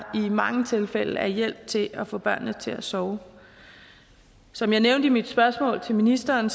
i mange tilfælde er hjælp til at få børnene til at sove som jeg nævnte i mit spørgsmål til ministeren